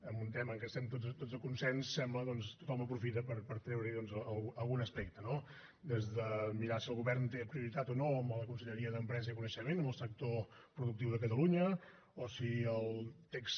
en un tema en què estem tots de consens sembla doncs que tothom aprofita per treure hi algun aspecte no des de mirar si el govern té prioritat o no a la conselleria d’empresa i coneixement amb el sector productiu de catalunya o si el text